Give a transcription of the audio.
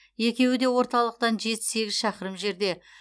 екеуі де орталықтан жеті сегіз шақырым жерде